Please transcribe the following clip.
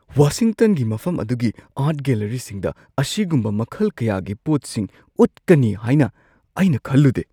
ꯋꯥꯁꯤꯡꯇꯟꯒꯤ ꯃꯐꯝ ꯑꯗꯨꯒꯤ ꯑꯥꯔꯠ ꯒꯦꯜꯂꯔꯤꯁꯤꯡꯗ ꯑꯁꯤꯒꯨꯝꯕ ꯃꯈꯜ ꯀꯌꯥꯒꯤ ꯄꯣꯠꯁꯤꯡ ꯎꯠꯀꯅꯤ ꯍꯥꯏꯅ ꯑꯩꯅ ꯈꯜꯂꯨꯗꯦ꯫